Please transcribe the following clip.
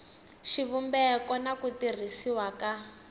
xivumbeko na ku tirhisiwa ka